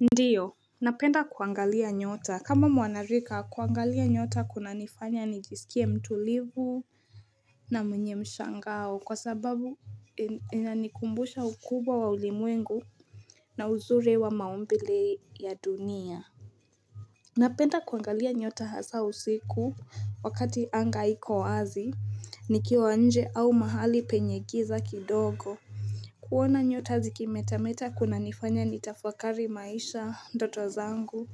Ndiyo, napenda kuangalia nyota kama mwanarika kuangalia nyota kunanifanya nijisikie mtulivu na mwenye mshangao kwa sababu inanikumbusha ukubwa wa ulimwengu na uzuri wa maumbile ya dunia Napenda kuangalia nyota hasa usiku Wakati anga hiko wazi nikiwa nje au mahali penye giza kidogo kuona nyota zikimetameta kuna nifanya nitafakari maisha, ndoto zangu